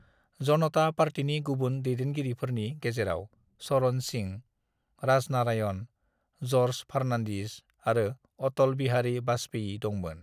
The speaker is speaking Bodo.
"जनता पार्टीनि गुबुन दैदेनगिरिफोरनि गेजेराव चरण सिंह, राजनारायण, जर्ज फर्नान्डिस आरो अटल बिहारी वाजपेयी दंमोन।"